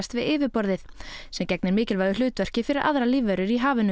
við yfirborðið sem gegnir mikilvægu hlutverki fyrir aðrar lífverur í hafinu